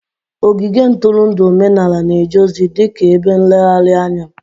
Ogige ntụrụndụ omenala na-eje ozi dị ka ebe nlegharị anya